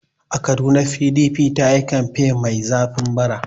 A Kaduna PDP ta yi kamfen mai zafi bara.